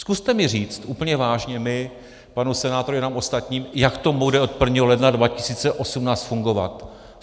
Zkuste mi říct, úplně vážně, mně, panu senátorovi, nám ostatním, jak to bude od 1. ledna 2018 fungovat.